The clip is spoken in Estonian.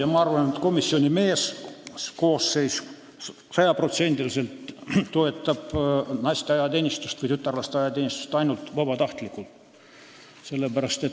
Aga ma arvan, et komisjoni meeskoosseis toetab sada protsenti naiste või tütarlaste ajateenistust ainult vabatahtlikkuse alusel.